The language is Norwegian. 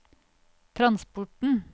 transporten